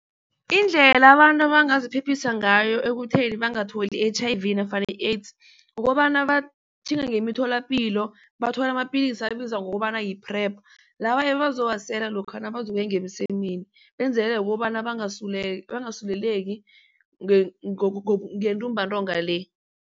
Indlela abantu bangaziphephisa ngayo ekutheni bangatholi i-H_I_V nofana i-AIDS kukobana batjhinga ngemitholapilo bathole amapilisi ebizwa ngokobana yi-PrEP laba bazowasela lokha nabazokuya ngemsemeni benzelele kobana bangasuleleki ngentumbantonga le.